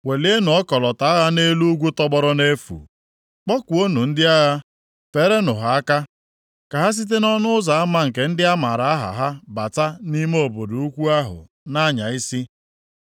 Welienụ ọkọlọtọ agha nʼelu ugwu tọgbọrọ nʼefu. Kpọkuonụ ndị agha. Feerenụ ha aka, ka ha site nʼọnụ ụzọ ama nke ndị a maara aha ha bata nʼime obodo ukwu ahụ na-anya isi.